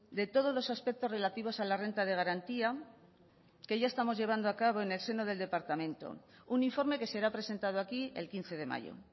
de todos los aspectos relativos a la renta de garantía que ya estamos llevando a cabo en el seno del departamento un informe que será presentado aquí el quince de mayo